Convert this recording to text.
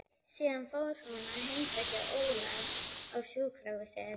Síðan fór hún að heimsækja Ólaf á sjúkrahúsið.